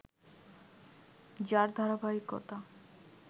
যার ধারাবাহিকতা